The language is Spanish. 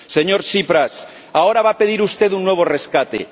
Señor Tsipras, ahora va a pedir usted un nuevo rescate.